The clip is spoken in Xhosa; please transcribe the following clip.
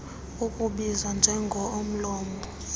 ukubizwa njengo omlomo